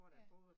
Ja